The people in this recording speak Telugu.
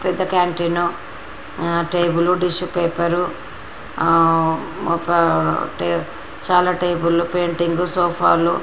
పెద్ద క్యాంటీను ఆ టేబుళ్లు టిస్యూ పేపర్ ఆ ఒక టే చాలా టేబుళ్లు పెయిటింగ్ సోపాలు --